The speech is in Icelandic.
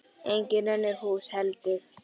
Engin önnur hús heldur.